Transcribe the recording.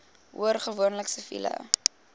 hoor gewoonlik siviele